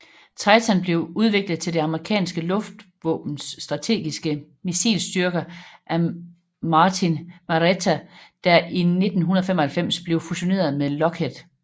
Titan blev udviklet til det amerikanske luftvåbens strategiske missilstyrker af Martin Marietta der i 1995 blev fusioneret med Lockheed